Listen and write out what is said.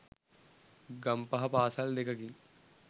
ගම්පහ පාසල් දෙකකින්